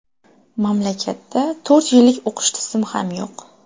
Mamlakatda to‘rt yillik o‘qish tizimi ham yo‘q.